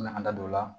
An bɛ an da don o la